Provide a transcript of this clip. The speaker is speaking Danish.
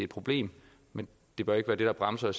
problem men det bør ikke være det der bremser